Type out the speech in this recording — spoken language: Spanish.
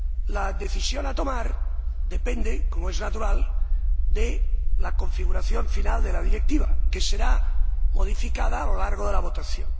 la decisión que se ha de tomar depende, como es natural, de la configuración final de la Directiva, que será modificada a lo largo de la votación.